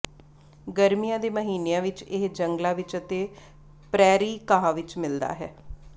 ਗਰਮੀਆਂ ਦੇ ਮਹੀਨਿਆਂ ਵਿਚ ਇਹ ਜੰਗਲਾਂ ਵਿਚ ਅਤੇ ਪ੍ਰੈਰੀ ਘਾਹ ਵਿਚ ਮਿਲਦਾ ਹੈ